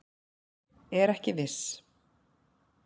Er ekki viss